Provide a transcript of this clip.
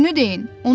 Düzünü deyin.